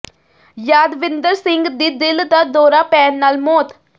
ਯਾਦਵਿੰਦਰ ਸਿੰਘ ਦੀ ਦਿਲ ਦਾ ਦੌਰਾ ਪੈਣ ਨਾਲ ਮੌਤ